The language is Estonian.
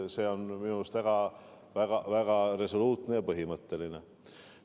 See on minu arvates väga resoluutne ja põhimõtteline seisukoht.